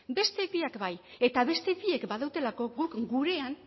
beste biak bai eta beste biek badutelako guk gurean